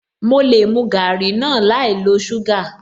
Mo lè mu garri náà láì lo suga